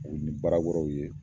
Buguni baara kɔrɔw ye